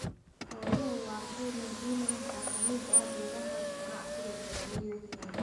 Xooluhu waa qayb muhiim ah oo ka mid ah beeraha ganacsiga ee beeralayda Kenya.